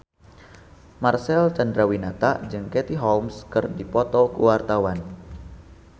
Marcel Chandrawinata jeung Katie Holmes keur dipoto ku wartawan